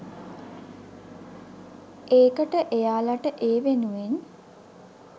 ඒකට එයාලට ඒ වෙනුවෙන්